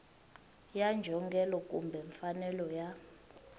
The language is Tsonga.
ya njhongelo kumbe mfanelo ya